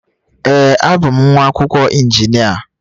Ee, abụ m nwa akwụkwọ injinia.